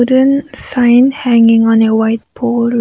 sign hanging on a white board.